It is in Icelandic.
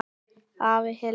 Afi Hilmar.